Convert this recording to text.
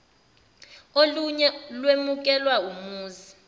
oluye lwemukelwa umuzi